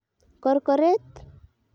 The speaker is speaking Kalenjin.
Korkoret?